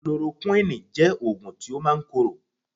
Chloroquine jẹ́ oògùn tí ó máa ń korò